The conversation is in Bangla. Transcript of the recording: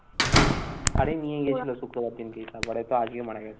আরে নিয়ে গেছিলো শুক্রবার দিনকে, তারপরে তো আজকে মারা গেছে।